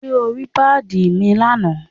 Ṣé o rí pàdí mi lánàá?